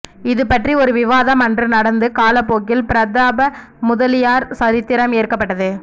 இதுபற்றி ஒரு விவாதம் அன்று நடந்து காலப்போக்கில் பிரதாபமுதலியார் சரித்திரம் ஏற்கப்பட்டது